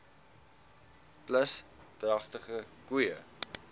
plus dragtige koeie